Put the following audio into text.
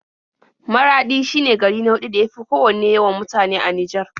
Maraɗi shine gari na huɗu da ya fi kowanne yawan mutane a Nijar.